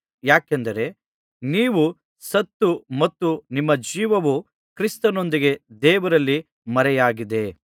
ಯಾಕೆಂದರೆ ನೀವು ಸತ್ತು ಮತ್ತು ನಿಮ್ಮ ಜೀವವು ಕ್ರಿಸ್ತನೊಂದಿಗೆ ದೇವರಲ್ಲಿ ಮರೆಯಾಗಿದೆ